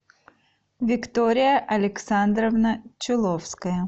виктория александровна чуловская